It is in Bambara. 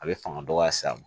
A bɛ fanga dɔgɔya s'a ma